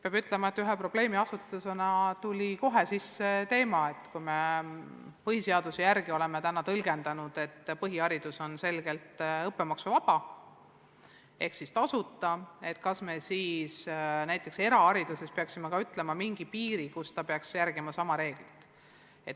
Peab ütlema, et ühe probleemiasetusena tuli sisse teema, et kui me põhiseaduse järgi oleme seni tõlgendanud, et põhiharidus on selgelt õppemaksuvaba ehk siis tasuta, kas me siis erahariduses peaksime sätestama selles osas mingi piiri.